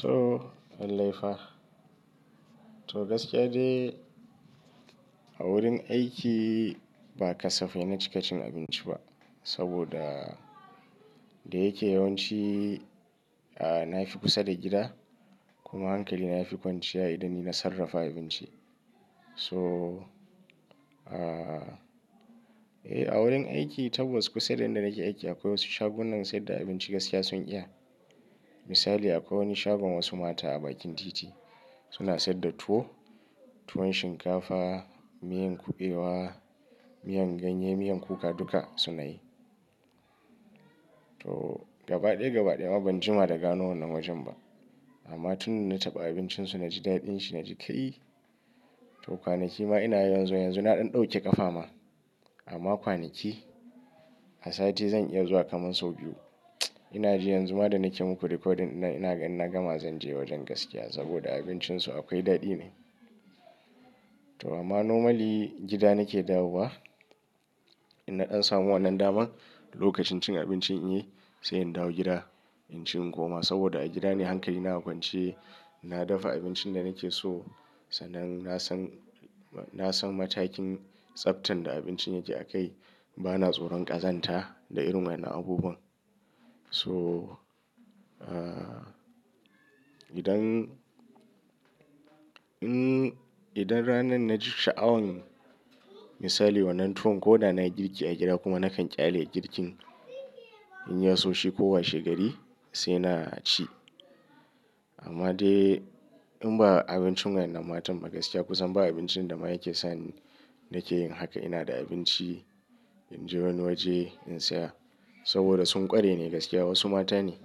To lallai fa. To gaskiya dai a wurin aiki ba kasafai na cika cin abinci ba. Saboda da yake yawanci a nafi kusa da gida kuma hankali na ya fi kwanciya idan ni na sarrafa abinci. So a eh a wurin aiki tabbass kusa da inda nake aiki akwai wasu shagunan sai da abinci gaskiya sun iya. Misali akwai wani shagon wasu mata a bakin titi suna saida tuwo, tuwon shinkafa, miyan kuɓewa, miyan ganye, miyan kuka duka suna yi. To gaba ɗaya gaba ɗaya ma ban jima da gano wannan wajen ba. Amma tun da na taɓa abincin su na ji daɗin shi na ji kai to kwanaki ma ina yawan zuwa, yanzu na ɗan ɗauke ƙafa ma. Amma kwanaki a sati zan iya zuwa kaman sau biyu. Ina ji yanzu ma da nake muku recording dinnan, ina gama zan je wajen gaskiya saboda abincin su akwai daɗi ne. To amma normally gida nake dawo wa in na ɗan samu wannan daman lokacin cin abinci in yi sai in dawo gida in ci in kuma saboda a gida ne hankali na kwance na dafa abincin da nake so. Sanan na san, na san matakin tsaftan da abincin yake a kai. Ba na tsoron ƙazanta da irin wannan abubuwan. So, idan, idan ranan na ji sha'awan misali wannan tuwon ko da na yi girki a gida kuma nakan ƙyale girkin in ya so shi ko washe gari sai na ci. Amma dai in ba abincin wannan matan magaskiya kusan ba abincin da ma yake sa ni nake yin haka. Ina da abinci in je wani waje in saya saboda sun ƙware ne gaskiya wasu mata ne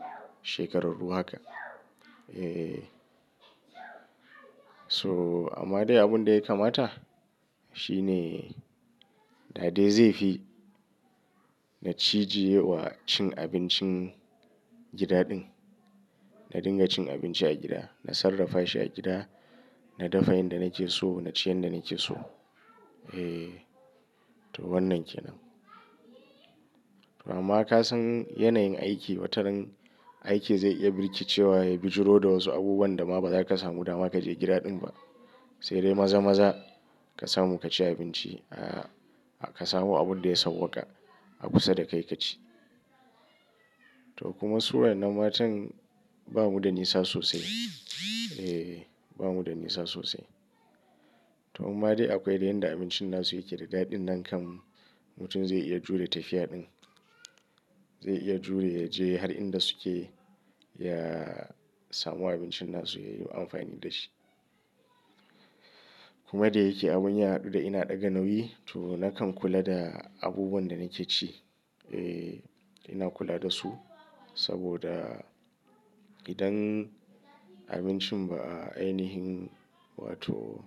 shekararru haka. Eh. So amma dai abun da ya kamata shine da dai zai fi na cije wa cin abincin gida ɗin. Na dinga cin abinci a gida. Na sarrafa shi a gida, na dafa yanda nake so, na ci yadda nake so. Eh to wannan kenan. Amma ka san yanayin aiki wataran aiki zai iya birki cewa ya bijiro da wasu abubuwan da ma ba zaka samu dama kaje gida ɗin ba. Sai dai maza-maza ka samu ka ci abinci a ka samu abun da ya sauwaƙa a kusa da kai ka ci. To kuma su wainnan matan ba mu da nisa sosai. Eh ba mu da nisa sosai. To amma dai akwai da yanda abincin na su yake da daɗin nan kam mutum zai iya jure tafiya ɗin. Zai iya jure ya je har inda su ke ya samu abincin na su ya yi amfani da shi. Kuma da yake abun yaɗu da ina ɗaga nauyi to na kan kula da abubuwan da nake ci. Eh ina kula da su saboda idan abincin ba a ainihin wato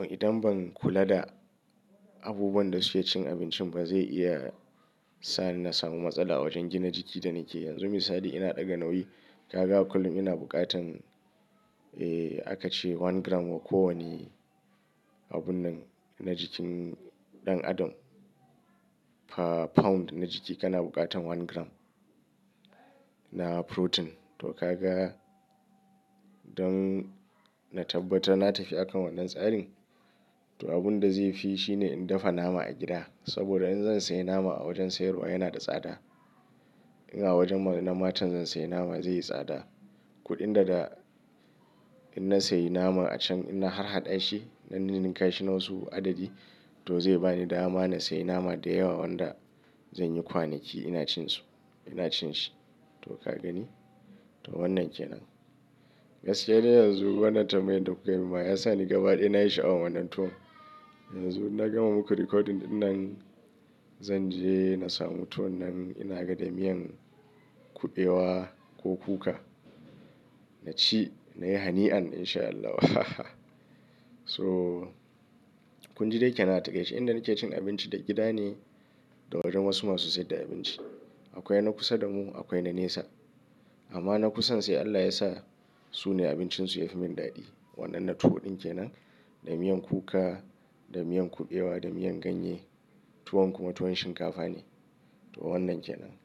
idan ban kula da abubuwan da suke cikin abincin ba zai iya sa ni na samu matsala a wajen gina jiki da nake. Yanzu misali ina ɗaga nauyi, ka ga kullum ina bukatan eh aka ce one gram wa ko wane abun nan na jikin ɗan adam. Per pound na jiki kana bukatan one gram na protein. To ka ga don na tabbatar na tafi akan wannan tsarin to abun da zai fi shine in dafa nama a gida. Saboda in zan sayi nama a wajen sayarwa yana da tsada. In a wajen wannan matan zan sayi nama zai yi tsada. Kuɗin da da in na sayi nama a can ina harhaɗa shi na ninka shi nan su adadi to zai ba ni dama in sayi nama da yawa wanda zan yi kwanaki ina cin su ina cin shi. To ka gani? To wannan kenan. Gaskiya dai yanzu wannan tambayar da kukai min ma ya sa ni gaba ɗaya na yi sha'awan wannan tuwo. Yanzu na gama muku recording ɗinan zan je na samu tuwon nan ina ga da miyan kuɓewa ko kuka. Na ci na yi hani'an in sha Allah. So kun ji dai kenan a takaice inda nake cin abinci a gida ne da wajen wasu masu saida abinci. Akwai na kusa da mu akwai na nesa. Amma na kusan sai Allah ya sa su ne abincin su ya fi min daɗi. Wannannan tuwo ɗin kenan da miyan kuka, da miyan kuɓewa, da miyan ganye tuwon kuma tuwon shinkafa ne. To wannan kenan.